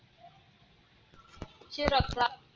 चे रक्तदाब